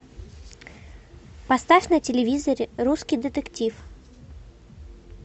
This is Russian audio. поставь на телевизоре русский детектив